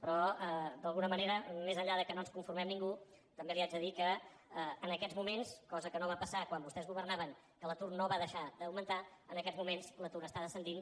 però d’alguna manera més enllà que no ens conformem ningú també li haig de dir que en aquests moments cosa que no va passar quan vostès governaven que l’atur no va deixar d’augmentar en aquests moments l’atur està descendint